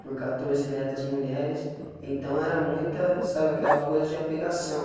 Por catorze netas mulheres, então era muita, sabe, aquela coisa de apegação.